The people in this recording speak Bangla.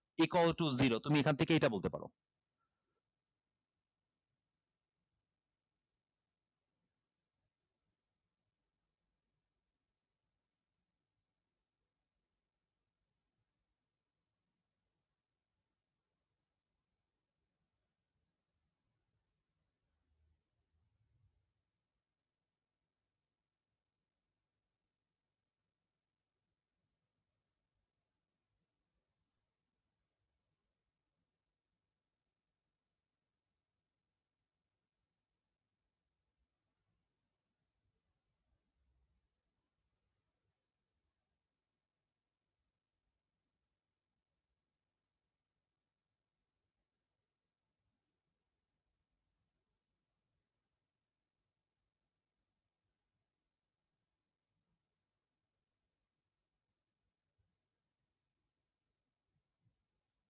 equal to zero তুমি এখান থেকে এটা বলতে পারো